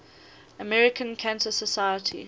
american cancer society